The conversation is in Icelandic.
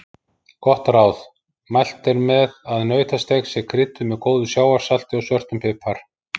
Gott ráð: Mælt er með að nautasteik sé krydduð með góðu sjávarsalti og svörtum pipar.